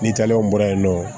Ni talɛri bɔra yen nɔ